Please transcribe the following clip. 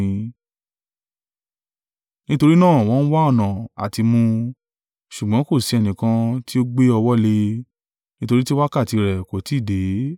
Nítorí náà wọ́n ń wá ọ̀nà à ti mú un, ṣùgbọ́n kò sí ẹnìkan tí ó gbé ọwọ́ lé e, nítorí tí wákàtí rẹ̀ kò tí ì dé.